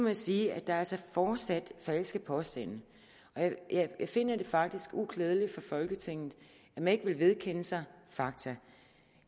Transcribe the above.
jeg sige at der altså fortsat er falske påstande og jeg finder det faktisk uklædeligt for folketinget at man ikke vil vedkende sig fakta